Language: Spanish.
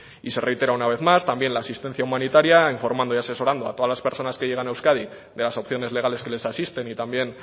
y se reitera una vez más también la asistencia humanitaria informando y asesorando a todas las personas que llegan a euskadi de las opciones legales que les asisten y también